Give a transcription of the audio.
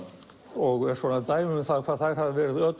og dæmi um hvað þær hafa verið